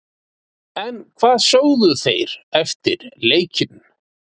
En hvað sögðu þeir eftir leikinn?